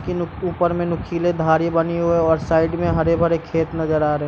की नु ऊपर मे नुकीले धारी बनी हुई हैं और साइड मे हरे भरे खेत नज़र आ रहे हैं ।